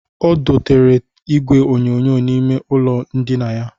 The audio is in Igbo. O dotere igwe onyonyo n'ime ụlọ ndịna ya